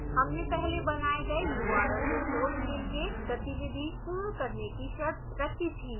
हमने पहले बनाए गए url resource के लिए गतिविधि पूर्ण करने की शर्त रखी थी